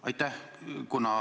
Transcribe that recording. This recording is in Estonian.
Aitäh!